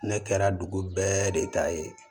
Ne kɛra dugu bɛɛ de ta ye